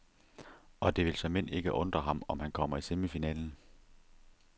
Og det vil såmænd ikke undre ham, om han kommer i semifinalen.